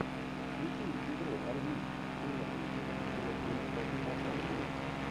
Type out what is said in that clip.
включи игру английской премьер лиги ливерпуля против астон виллы